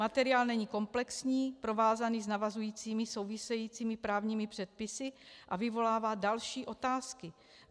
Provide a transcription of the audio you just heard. Materiál není komplexní, provázaný s navazujícími, souvisejícími právními předpisy a vyvolává další otázky.